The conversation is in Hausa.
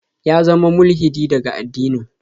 Ya zama mulhidi daga addinin.